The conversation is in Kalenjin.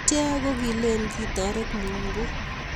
Ichek ko kileeni kitoret mungu